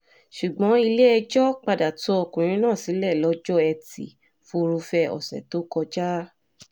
ṣùgbọ́n ilé-ẹjọ́ padà tú ọkùnrin náà sílẹ̀ lọ́jọ́ etí furuufee ọ̀sẹ̀ tó kọjá